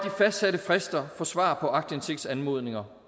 fastsatte frister for svar på aktindsigtsanmodninger